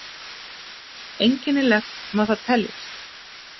Einkennilegt má það teljast.